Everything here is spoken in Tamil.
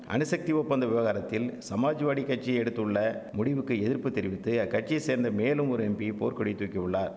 அணுசக்தி ஒப்பந்த விவகாரத்தில் சமாஜ்வாடி கட்சி எடுத்துள்ள முடிவுக்கு எதிர்ப்பு தெரிவித்து அக்கட்சியை சேர்ந்த மேலும் ஒரு எம்பி போர்க்கொடி தூக்கியுள்ளார்